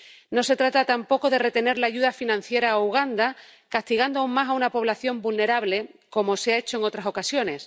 No se trata tampoco de retener la ayuda financiera a Uganda, castigando aún más a una población vulnerable, como se ha hecho en otras ocasiones.